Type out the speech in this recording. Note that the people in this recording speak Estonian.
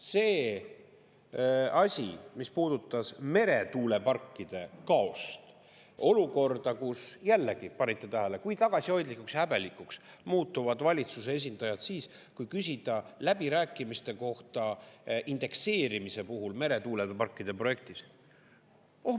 See asi, mis puudutas meretuuleparkide kaost, olukorda, kus jällegi, panite tähele, kui tagasihoidlikuks ja häbelikuks muutuvad valitsuse esindajad siis kui küsida läbirääkimiste kohta indekseerimise puhul meretuuleparkide projektis.